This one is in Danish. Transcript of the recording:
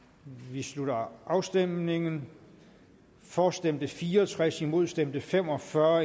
vi slutter afstemningen for stemte fire og tres imod stemte fem og fyrre